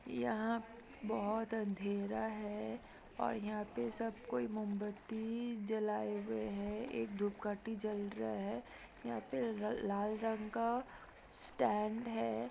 यहाँ बहुत अंधेरा है और यहां पे सबकोई मोमबत्ती जलायें हुए है एक धूप काठी जल रहा है यहाँ पे लाल रंग का स्टैन्ड है।